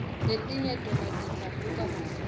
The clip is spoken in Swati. letinye tona tidzabuka masinyane